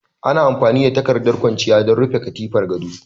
Ana amfani da takardar kwanciya don rufe katifar gado